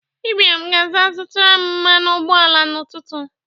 Ibiam ga-aga zụtaram mmanụ ụgbọ ala n'ụtụtụ.